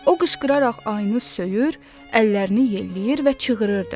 O qışqıraraq ayını söyür, əllərini yelləyir və çığırdı.